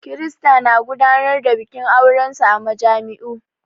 Kirista na gudanar da bikin aurensu a majami'u.